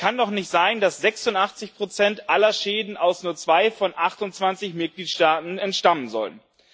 Es kann doch nicht sein, dass 86 aller Schäden aus nur zwei von 28 Mitgliedstaaten stammen sollen.